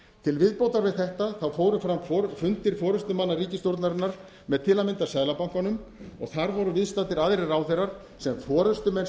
til viðbótar við þetta fóru fram fundir forustumanna ríkisstjórnarinnar með til að mynda seðlabankanum og þar voru viðstaddir aðrir ráðherrar sem forustumenn